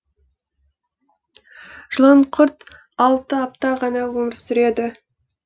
жыланқұрт алты апта ғана өмір сүреді